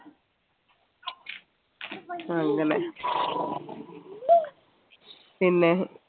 അങ്ങനെ പിന്നെ